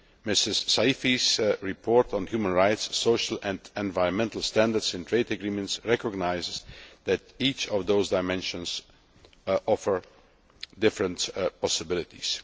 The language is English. Ms Saïfi's report on human rights, social and environmental standards in trade agreements recognises that each of those dimensions offers different possibilities.